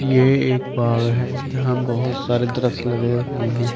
ये एक बाग है जहां बहुत सारे दरख्त लगे हुए हैं।